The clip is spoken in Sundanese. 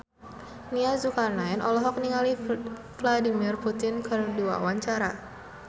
Nia Zulkarnaen olohok ningali Vladimir Putin keur diwawancara